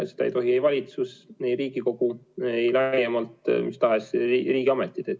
Seda ei tohi ei valitsus, Riigikogu ega mistahes riigiametid.